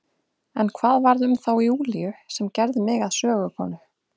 En hvað varð um þá Júlíu sem gerði mig að sögukonu?